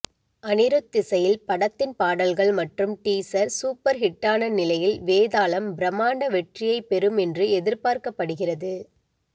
அனிருத் இசையில் படத்தின் பாடல்கள் மற்றும் டீசர் சூப்பர் ஹிட்டான நிலையில் வேதாளம் பிரம்மாண்ட வெற்றியைப் பெறும் என்று எதிர்பார்க்கப்படுகிறது